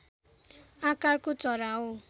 आकारको चरा हो